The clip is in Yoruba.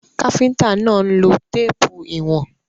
Káfíntà náà ń lo téèpù ìwọ̀n.